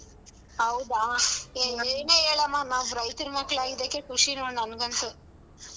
ಹೌದಾ ಏ ಏನೇ ಹೇಳಮ್ಮ ನಾವ್ ರೈತ್ರ ಮಕ್ಳಾಗಿದ್ದಕ್ಕೆ ಖುಷಿ ನೋಡ್ ನಂಗಂತೂ.